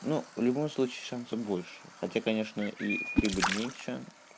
ну в любом случае шансов больше хотя конечно и прибыль меньше